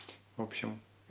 в общем